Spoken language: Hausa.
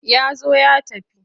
Ya zo ya tafi.